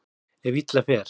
Ef illa fer.